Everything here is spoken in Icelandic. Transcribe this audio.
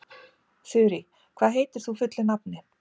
Þurí, hvað heitir þú fullu nafni?